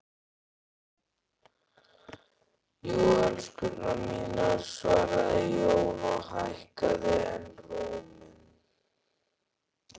Jú, elskurnar mínar, svaraði Jón og hækkaði enn róminn.